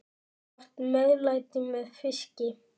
Gott meðlæti með fiski.